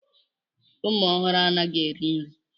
Ụmụ ọhụrụ anaghị eri nri.